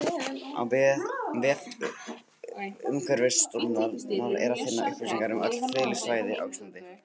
Á vef Umhverfisstofnunar er að finna upplýsingar um öll friðlýst svæði á Íslandi.